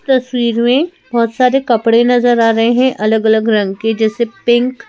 तस्वीर में बहुत सारे कपड़े नजर आ रहे हैं अलग-अलग रंग के जैसे पिंक --